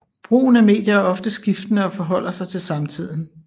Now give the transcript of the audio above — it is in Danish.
Brugen af medier er ofte skiftende og forholder sig til samtiden